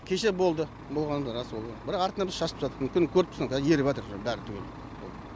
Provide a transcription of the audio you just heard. кеше болды болғаны рас ол бірақ артынан біз шашып тастадық мүмкін көріп тұрсыздар казір еріп жатыр бәрі түгел